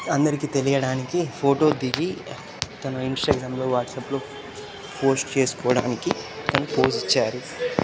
అందరికీ తెలియడానికి ఫోటో దిగి తను ఇంస్టాగ్రామ్ లో వాట్సాప్ లో పోస్ట్ చేసుకోడానికి తాను పోస్ ఇచ్చారు.